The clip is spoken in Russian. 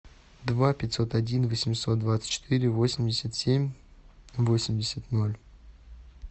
два пятьсот один восемьсот двадцать четыре восемьдесят семь восемьдесят ноль